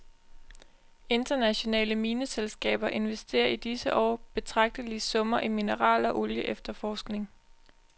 Internationale mineselskaber investerer i disse år betragtelige summer i mineral- og olieefterforskning.